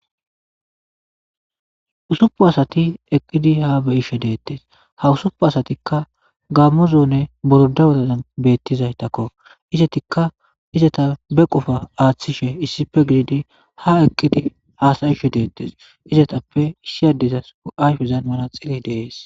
Usupu asati eqqidi ha beyishe deettes ha usupu asatikka gammozoone borda wotaan bettizaytakko izatikka izata be qofa aaththishe issife gididi ha eqqidi aasayishe deettes izatappe issi addezas ayfezan mana xili deees